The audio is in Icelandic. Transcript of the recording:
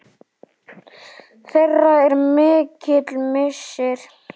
Þeirra er mikill missir.